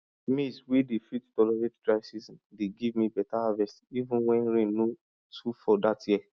maize wey dey fit tolerate dry season dey give me better harvest even when rain no too fall that year